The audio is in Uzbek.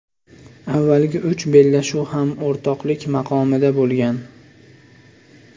Avvalgi uch bellashuv ham o‘rtoqlik maqomida bo‘lgan.